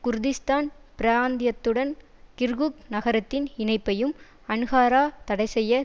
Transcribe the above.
Kurdistan பிராந்தியத்துடன் Kirkuk நகரத்தின் இணைப்பையும் அன்காரா தடைசெய்ய